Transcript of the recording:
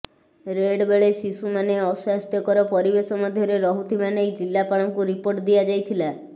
red ବେଳେ ଶିଶୁ ମାନେ ଅସ୍ୱାସ୍ଥ୍ୟକର ପରିବେଶ ମଧ୍ୟରେ ରହୁଥିବା ନେଇ ଜିଲ୍ଲାପାଳଙ୍କୁ ରିପୋର୍ଟ ଦିଆଯାଇଥିଲା